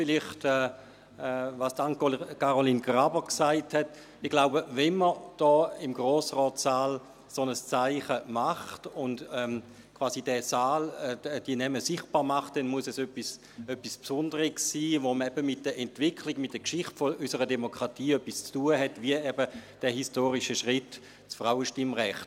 Vielleicht zu dem, was AnneCaroline Graber gesagt hat: Ich glaube, wenn man hier im Grossratssaal ein solches Zeichen setzt und die Namen in diesem Saal sichtbar macht, dann muss es etwas Besonderes sein, das eben mit der Entwicklung, der Geschichte unserer Demokratie etwas zu tun hat, wie eben der historische Schritt des Frauenstimmrechts.